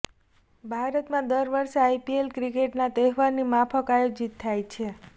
ભારતમાં દર વર્ષે આઈપીએલ ક્રિકેટના તહેવારની માફક આયોજિત થાય છે